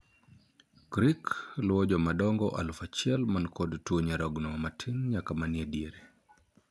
'CRIC' luwo joma dongo alufu auchiel man kod tuo nyarogno matin nyaka manie diere.